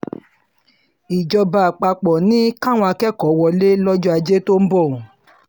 ìjọba àpapọ̀ ni káwọn akẹ́kọ̀ọ́ wọlé lọ́jọ́ ajé tó ń bọ̀